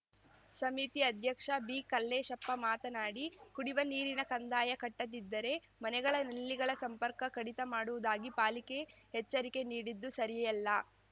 ಸಮಿತಿ ಅಧ್ಯಕ್ಷ ಬಿಕಲ್ಲೇಶಪ್ಪ ಮಾತನಾಡಿ ಕುಡಿವ ನೀರಿನ ಕಂದಾಯ ಕಟ್ಟದಿದ್ದರೆ ಮನೆಗಳ ಲ್ಲಿಗಳ ಸಂಪರ್ಕ ಕಡಿತ ಮಾಡುವುದಾಗಿ ಪಾಲಿಕೆ ಎಚ್ಚರಿಕೆ ನೀಡಿದ್ದು ಸರಿಯಲ್ಲ